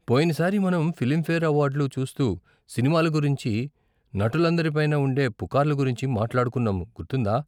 పోయిన సారి మనం ఫిలింఫేర్ అవార్డ్లు చూస్తూ సినిమాల గురించి నటులందరి పైన ఉండే పుకార్ల గురించి మాట్లాడుకున్నాము, గుర్తుందా?